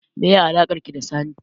Meye alakarki da Sani?